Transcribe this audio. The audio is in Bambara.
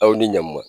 Aw ni ɲankuma